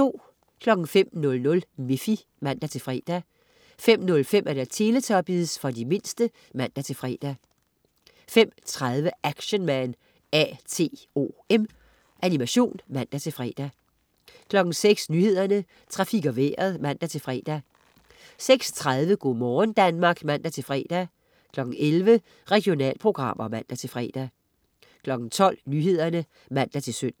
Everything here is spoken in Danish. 05.00 Miffy (man-fre) 05.05 Teletubbies. For de mindste (man-fre) 05.30 Action Man A.T.O.M. Animation (man-fre) 06.00 Nyhederne, Trafik og Vejret (man-fre) 06.30 Go' morgen Danmark (man-fre) 11.00 Regionalprogrammer (man-fre) 12.00 Nyhederne (man-søn)